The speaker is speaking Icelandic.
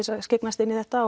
skyggnast inn í þetta